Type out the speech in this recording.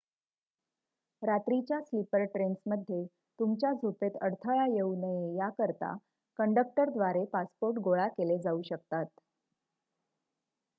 रात्रीच्या स्लीपर ट्रेन्समध्ये तुमच्या झोपेत अडथळा येऊ नये याकरिता कंडक्टरद्वारे पासपोर्ट गोळा केले जाऊ शकतात